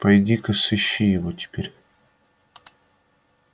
пойди ка сыщи его теперь